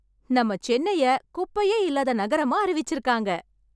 நம்மை சென்னை குப்பையே இல்லாத நகரமா அறிவிச்சிருக்காங்க.